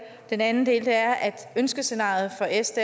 den anden del er at ønskescenariet for s